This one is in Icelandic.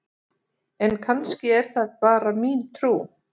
En kannski er það bara mín trú!?